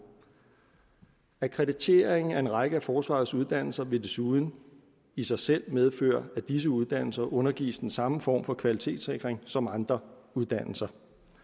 akkrediteringen af en række af forsvarets uddannelser vil desuden i sig selv medføre at disse uddannelser undergives den samme form for kvalitetssikring som andre uddannelser